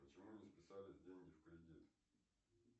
почему не списались деньги в кредит